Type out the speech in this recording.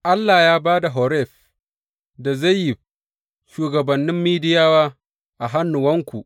Allah ya ba da Oreb da Zeyib, shugabannin Midiyawa a hannuwanku.